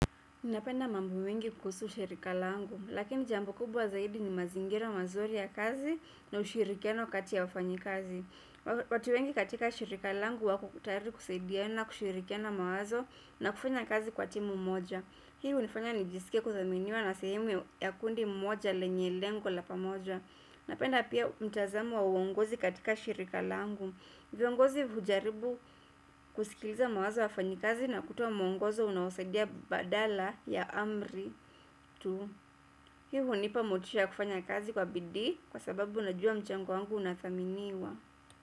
Napenda mambo mengi kuhusu shirika langu, lakini jambo kubwa zaidi ni mazingira mazuri ya kazi na ushirikiano kati ya wafanyikazi. Watu wengi katika shirika langu wako tayari kusaidiana kushirikiana mawazo na kufanya kazi kwa timu moja. Hii hunifanya nijiske kudhaminiwa na sehemu ya kundi moja lenye lengo la pamoja. Napenda pia mtazamo wa uongozi katika shirika langu. Viongozi hujaribu kusikiliza mawazo ya wafanyikazi na kutoa mwongozo unaosaidia badala ya amri tu. Hiu hunipa motisha ya kufanya kazi kwa bidii kwa sababu unajua mchango wangu unathaminiwa.